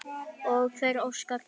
Og hver óskar þess?